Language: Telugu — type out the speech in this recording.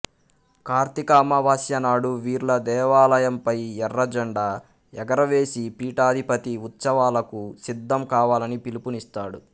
కార్తీక అమావాస్య నాడు వీర్ల దేవాలయంపై ఎర్రజండా ఎగురవేసి పీఠాధిపతి ఉత్సవాలకు సిద్ధం కావాలని పిలుపునిస్తాడు